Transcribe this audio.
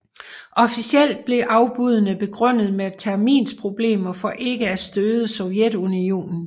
Officielt blev afbuddene begrundet med terminsproblemer for ikke af støde Sovjetunionen